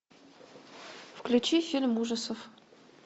включи фильм ужасов